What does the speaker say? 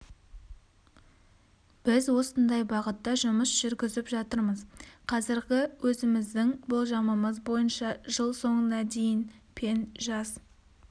біз осындай бағытта жұмыс жүргізіп жатырмыз қазіргі өзіміздің болжамымыз бойынша жыл соңына дейін пен жас